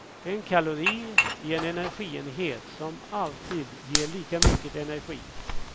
En kalori är en energienhet som alltid ger lika mycket energi.